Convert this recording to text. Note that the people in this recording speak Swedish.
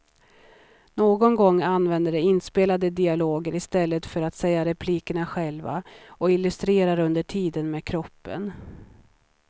Någon gång använder de inspelade dialoger i stället för att säga replikerna själva och illustrerar under tiden med kroppen.